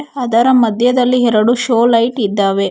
ಅದರ ಮಧ್ಯದಲ್ಲಿ ಎರಡು ಶೋ ಲೈಟ್ ಇದ್ದಾವೆ.